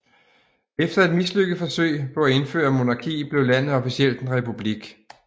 Efter et mislykket forsøg på at indføre monarki blev landet officielt en republik